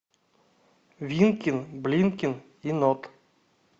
винкин блинкин и нот